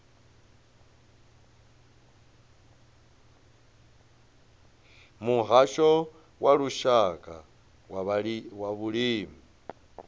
muhasho wa lushaka wa vhulimi